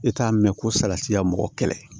E t'a mɛn ko salati ya mɔgɔ kɛlɛ